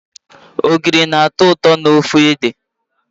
Ogiri na-atọ ụtọ n'ofe ede.